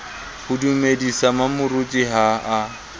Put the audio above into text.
ho dumedisa mmamoruti ha a